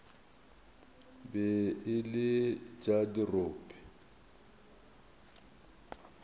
be e le tša dirope